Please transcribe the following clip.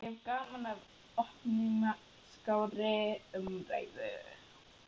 Ég hef gaman af opinskárri umræðu.